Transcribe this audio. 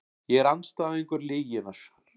Ég er andstæðingur lyginnar.